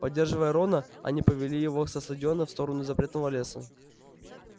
поддерживая рона они повели его со стадиона в сторону запретного леса